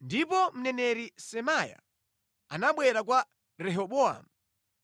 Ndipo mneneri Semaya anabwera kwa Rehobowamu